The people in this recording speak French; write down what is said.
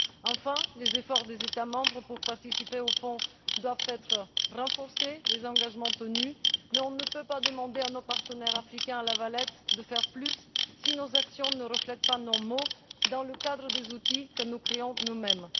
plus. Enfin, les efforts des États membres pour participer au fonds doivent être renforcés et les engagements doivent être tenus, mais on ne peut pas demander à nos partenaires africains à La Valette, de faire plus si nos actions ne reflètent pas nos paroles dans le cadre des outils que nous créons nous